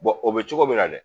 o bɛ cogo min na dɛ